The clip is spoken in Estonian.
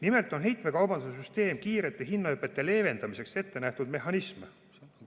Nimelt on heitmekaubanduse süsteem kiirete hinnahüpete leevendamiseks ettenähtud mehhanism.